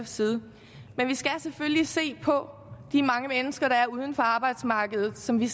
side men vi skal selvfølgelig se på de mange mennesker der er uden for arbejdsmarkedet og som vi